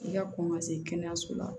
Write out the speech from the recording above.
I ka kɔn ka se kɛnɛyaso la